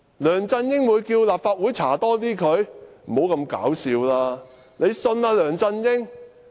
梁振英會要求立法會對他進行更多調查嗎？